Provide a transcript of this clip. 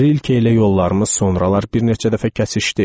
Rilke ilə yollarımız sonralar bir neçə dəfə kəsişdi.